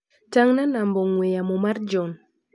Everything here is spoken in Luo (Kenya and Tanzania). Tang'na namba ong'ue yamo mar John.